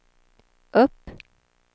upp